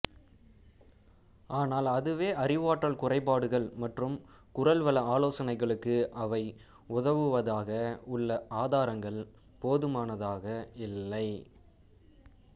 ஆனால் அதுவே அறிவாற்றல் குறைபாடுகள் மற்றும் குரல்வள ஆலோசனைகளுக்கு அவை உதவுவதாக உள்ள ஆதாரங்கள் போதுமானதாக இல்லை